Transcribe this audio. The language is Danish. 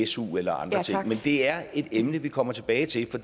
su eller andre ting men det er et emne vi kommer tilbage til